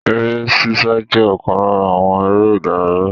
Eré ṣíṣá je okan lara àwọn ère ìdárayá.